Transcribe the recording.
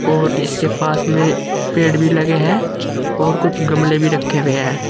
और इसके पास में पेड़ भी लगे हैं और कुछ गमले भी रखे हुए हैं।